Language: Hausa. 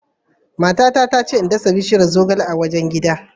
Matata ta ce in dasa bishiyar zogale a wajen gida.